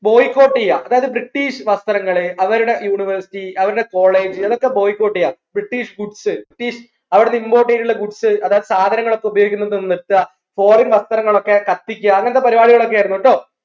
boycott ചെയ്യാ അതായത് British വസ്ത്രങ്ങളെ അവരുടെ university അവരുടെ college ഇതൊക്കെ Boycott ചെയ്യാ British foods British അവിടുന്ന് import ചെയ്തിട്ടുള്ള goods അതായത് സാധനങ്ങളൊക്കെ ഉപയോഗിക്കുന്നത് നിർത്താ foreign വസ്ത്രങ്ങളൊക്കെ കത്തിക്കാ അങ്ങനത്തെ പരിപാടികൾ ആയിരുന്നു ട്ടോ